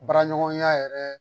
Baraɲɔgɔnya yɛrɛ